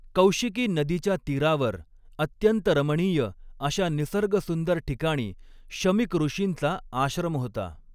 कौशिकी नदीच्या तीरावर अत्यंत रमणीय अशा निसर्गसुंदर ठिकाणी शमीक ऋषींचा आश्रम होता.